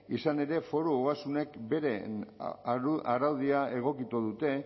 izan ere foru ogasunek beren araudia egokitu dute